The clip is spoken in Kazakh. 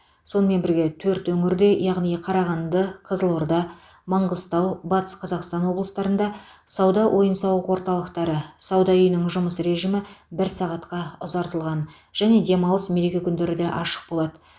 сонымен бірге төрт өңірде яғни қарағанды қызылорда маңғыстау батыс қазақстан облыстарында сауда ойын сауық орталықтары сауда үйінің жұмыс режимі бір сағатқа ұзартылған және демалыс мереке күндері де ашық болады